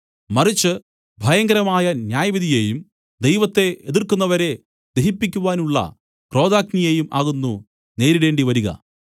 മറിച്ച് ഭയങ്കരമായ ന്യായവിധിയേയും ദൈവത്തെ എതിർക്കുന്നവരെ ദഹിപ്പിക്കുവാനുള്ള ക്രോധാഗ്നിയേയും ആകുന്നു നേരിടേണ്ടി വരിക